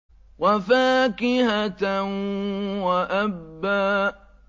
وَفَاكِهَةً وَأَبًّا